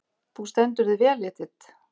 Þú stendur þig vel, Edit!